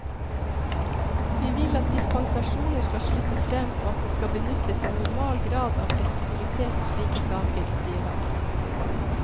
Vi vil at dispensasjoner skal slippe frem og at det skal benyttes en normal grad av fleksibilitet i slike saker, sier han.